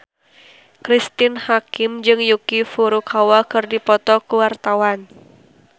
Cristine Hakim jeung Yuki Furukawa keur dipoto ku wartawan